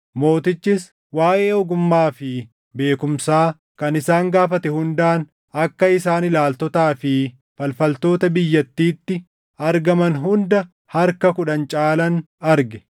Mootichis waaʼee ogummaa fi beekumsaa kan isaan gaafate hundaan akka isaan ilaaltotaa fi falfaltoota biyyattiitti argaman hunda harka kudhan caalan arge.